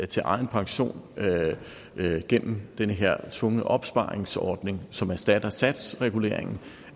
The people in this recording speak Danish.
til egen pension gennem den her tvungne opsparingsordning som erstatter satsreguleringen